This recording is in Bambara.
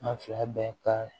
An fila bɛɛ ka